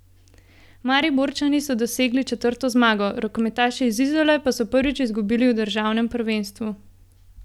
Mariborčani so dosegli četrto zmago, rokometaši iz Izole pa so prvič izgubili v državnem prvenstvu.